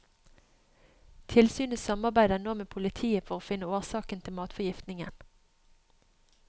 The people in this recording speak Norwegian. Tilsynet samarbeider nå med politiet for å finne årsaken til matforgiftningen.